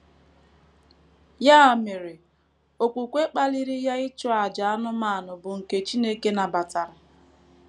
Ya mere, okwukwe kpaliri ya ịchụ àjà anụmanụ bụ́ nke Chineke nabatara.